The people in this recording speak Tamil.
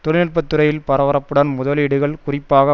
தொழில் நுட்ப துறையில் பரபரப்புடன் முதலீடுகள் குறிப்பாக